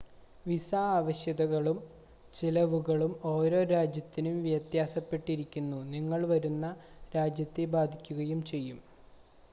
visa ആവശ്യകതകളും ചെലവുകളും ഓരോ രാജ്യത്തിനും വ്യത്യാസപ്പെട്ടിരിക്കുന്നു നിങ്ങൾ വരുന്ന രാജ്യത്തെ ബാധിക്കുകയും ചെയ്യും